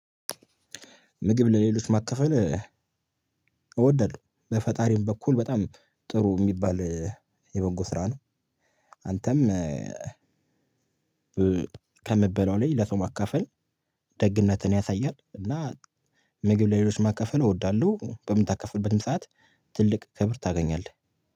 ምግብ ለሌሎች ማካፈል እወዳለሁ በፈጣሪም በኩል በጣም ጥሩ የሚባል የበጎ ስራ ነው። አንተም ከምበላው ላይ ለሰው ማካፈል ደግነትን ያሳያል። እና ምግብ ለሌሎች ማካፈል እወዳለሁ በምታከፍልበትም ሰዓት ትልቅ ክብር ታገኛለህ።